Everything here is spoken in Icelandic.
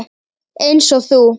Eins og þú.